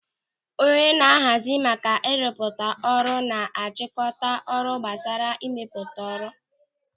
Onye na-ahazi maka ịrụpụta ọrụ na-achịkọta ọrụ gbasara ịmepụta ọrụ.